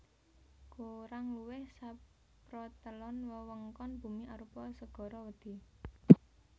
Kurang luwih saprotelon wewengkon bumi arupa segara wedhi